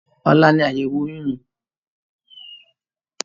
Ọ̀la ní àyẹ̀wò oyún mi.